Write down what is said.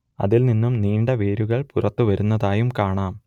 അതിൽ നിന്നും നീണ്ട വേരുകൾ പുറത്തു വരുന്നതായും കാണാം